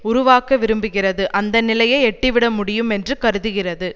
உருவாக்க விரும்புகிறது அந்த நிலையை எட்டிவிட முடியும் என்று கருதுகிறது